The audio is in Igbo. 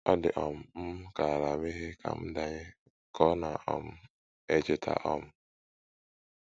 Ọ dị um m ka ala meghee ka m danye, ” ka ọ na um - echeta um.